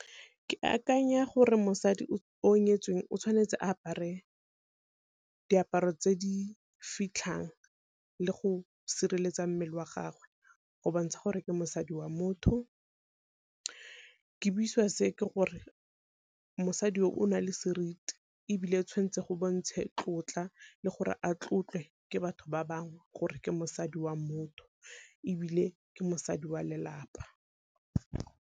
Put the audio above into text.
Ke akanya gore mosadi o nyetsweng o tshwanetse a apare diaparo tse di fitlhang le go sireletsa mmele wa gagwe go bontsha gore ke mosadi wa motho. Ke buisiwa se ke gore mosadi o nale seriti, ebile tshwantse go bontshe tlotla le gore a tlotlwe ke batho ba bangwe, gore ke mosadi wa motho ebile ke mosadi wa lelapa.